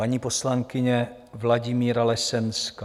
Paní poslankyně Vladimíra Lesenská.